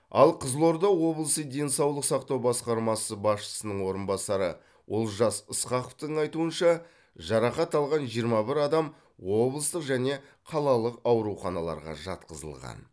ал қызылорда облысы денсаулық сақтау басқармасы басшысының орынбасары олжас ысқақовтың айтуынша жарақат алған жиырма бір адам облыстық және қалалық ауруханаларға жатқызылған